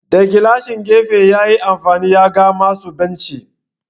Da gilashin gefe yayi amfani ya ga masu binshi.